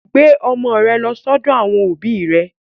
Gbé ọmọ rẹ lọ sọ́dọ̀ àwọn òbí rẹ.